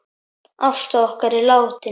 Ásta okkar er látin.